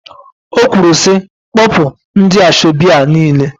O kwuru sị, kpọpụ ndị asọebi a niile!